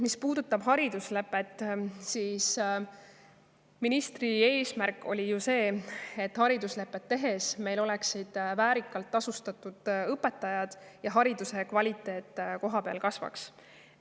Mis puudutab hariduslepet, siis ministri eesmärk oli ju see, et meil oleksid vääriliselt tasustatud õpetajad ja hariduse kvaliteet kohapeal tõuseks.